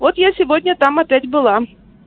вот я сегодня там опять была